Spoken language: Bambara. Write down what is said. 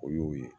O y'o ye